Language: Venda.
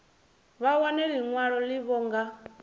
vha wane ḽiṅwalo ḽavho nga